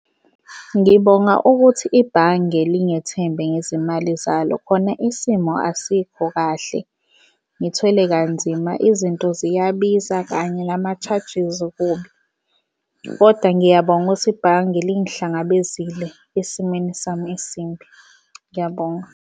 Ngibonga ukuthi ibhange lingethembe ngezimali zalo, khona isimo asikho kahle ngithwele kanzima, izinto ziyabiza kanye nama-charges kubi. Kodwa ngiyabonga ukuthi ibhange linghlangabezile esimweni sami esimbi. Ngiyabonga.